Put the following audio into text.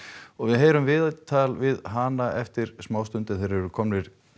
og við heyrum viðtal við hana eftir smá stund en þeir eru komnir